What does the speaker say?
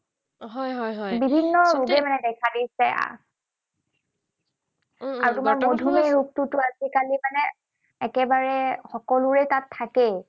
হয়, হয়, হয়। বিভিন্ন ৰোগে মানে দেখা দিছে। আৰু তোমাৰ মধুমেহ ৰোগটোতো আজিকালি মানে একেবাৰে সকলোৰে তাত থাকেই।